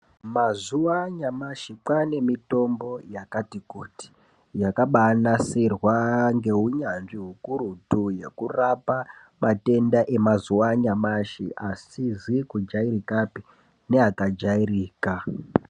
Mazuwa anyamashi kwane mitombo yakati kuti, yakabanasirwa ngeunyanzvi hukurutu yekurapa matenda emazuwa anyamashi, asizi kujairikapi neakajairika.